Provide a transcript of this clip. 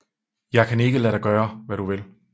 Jeg kan ikke lade dig gøre hvad du vil